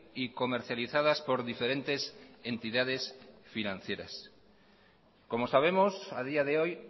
y comercializadas por diferentes entidades financieras como sabemos a día de hoy